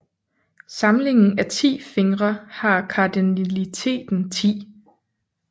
Samlingen af 10 fingre har kardinaliteten 10